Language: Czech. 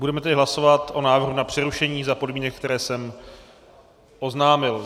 Budeme tedy hlasovat o návrhu na přerušení za podmínek, které jsem oznámil.